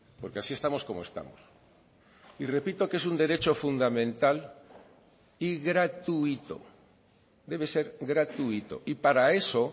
porque así estamos como estamos y repito que es un derecho fundamental y gratuito debe ser gratuito y para eso